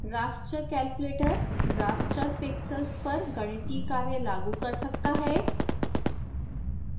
raster calculator raster pixels पर गणितीय कार्य लागू कर सकता है